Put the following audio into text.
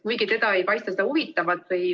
Kuigi teda ei paista see huvitavat.